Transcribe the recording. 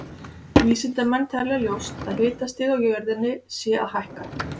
Vísindamenn telja ljóst að hitastig á jörðinni sé að hækka.